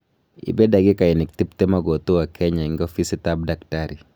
ipe dakigainik tiptem akotua kenya eng ofisit ap daktari